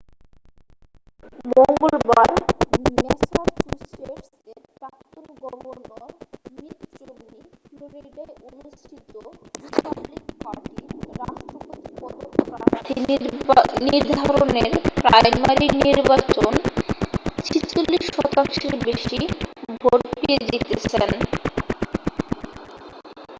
মঙ্গলবার ম্যাসাচুসেটস এর প্রাক্তন গভর্নর মিট রম্নি ফ্লরিডায় অনুষ্ঠিত রিপাবলিকান পার্টির রাষ্ট্রপতি পদপ্রার্থী নির্ধারণের প্রাইমারি নির্বাচন 46 শতাংশের বেশি ভোট পেয়ে জিতেছেন